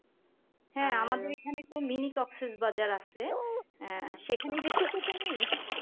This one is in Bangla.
হ্যাঁ আমাদের এখানে তো mini কক্সেসবাজার আসে আহ সেখানে গেসো তো তুমি